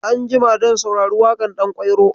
Anjima zan saurari waƙar ɗankwairo.